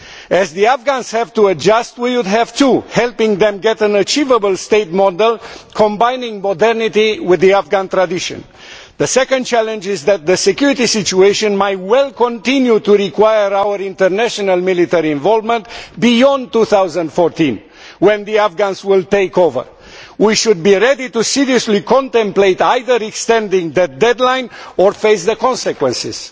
As the Afghans have to adjust, so too do we, helping them to get an achievable state model combining modernity with the Afghan tradition. The second challenge is that the security situation might well continue to require our international military involvement beyond 2014, when the Afghans will take over. We should be ready seriously to contemplate either extending the deadline or facing the consequences.